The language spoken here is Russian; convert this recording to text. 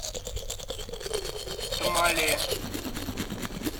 тамале